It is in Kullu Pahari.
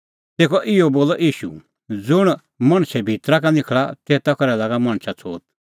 तेखअ बोलअ ईशू ज़ुंण मणछे भितरा का निखल़ा तेता करै लागा मणछा छ़ोत